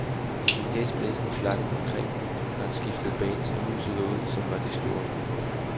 I sin hæsblæsende flakken omkring har han skiftet bands og musikere ud, som var de skjorter.